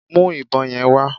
Mú ìbọn yẹn wá